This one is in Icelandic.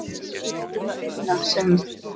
Ég átti það eina sem